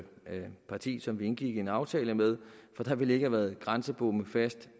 partiet som vi indgik en aftale med for der ville ikke have været grænsebomme fast